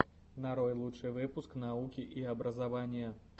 нарой лучший выпуск науки и образования